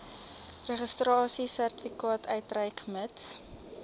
registrasiesertifikaat uitreik mits